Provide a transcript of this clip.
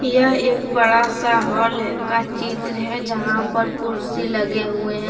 यह एक बड़ा सा हॉल है का चित्र है जहां पर कुर्सी लगे हुए हैं।